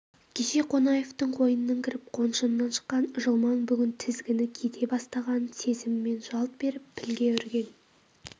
кеше қонаевтың қойнынан кіріп қоншынан шыққан жылмаң бүгін тізгіні кете бастағанын сезімімен жалт беріп пілге үрген